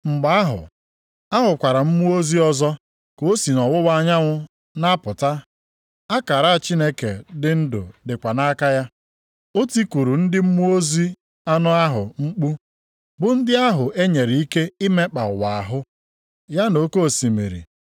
Mgbe ahụ, ahụkwara m mmụọ ozi ọzọ ka o si nʼọwụwa anyanwụ na-apụta, akara Chineke dị ndụ dịkwa nʼaka ya. O tikuru ndị mmụọ ozi anọ ahụ mkpu, bụ ndị ahụ e nyere ike imekpa ụwa ahụ, ya na oke osimiri,